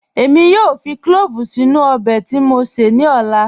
Èmi yóò fì clọ̀ọ̀vù sínu ọbẹ̀ tí mó sé ní ọ̀là.